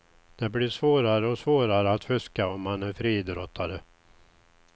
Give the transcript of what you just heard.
Det blir svårare och svårare att fuska om man är friidrottare.